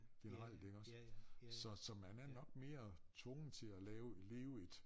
Generelt iggås så så man er nok mere tvunget til at lave leve et